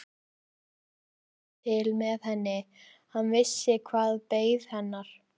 Marteinn fann til með henni, hann vissi hvað beið hennar.